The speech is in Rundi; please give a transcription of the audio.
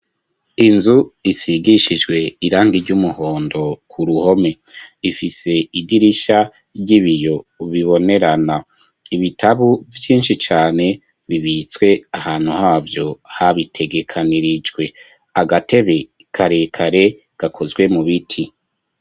Inzu isigishijwe irangi ry'umuhondo ku ruhome ifise idirisha ry'ibiyo bibonerana ibitabu vyinshi cane bibitswe ahantu havyo habitegekanirijwe agatebe karekare gakozwe mu biti.